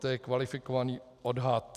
To je kvalifikovaný odhad.